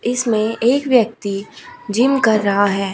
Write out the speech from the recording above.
इसमें एक व्यक्ति जिम कर रहा है।